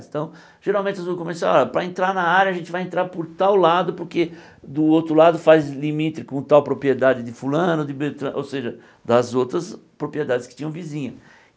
geralmente as ruas comerciais ó, para entrar na área, a gente vai entrar por tal lado, porque do outro lado faz limite com tal propriedade de fulano de Beltra, ou seja, das outras propriedades que tinham vizinho.